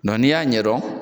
Nka ni y'a ɲɛ don.